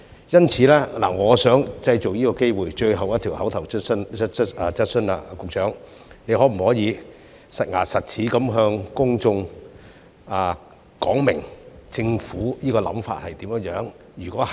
因此，我想藉最後一項口頭質詢的機會，詢問局長可否"實牙實齒"地向公眾說明政府的想法如何？